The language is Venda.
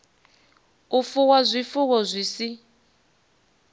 u fuwa zwifuwo zwi si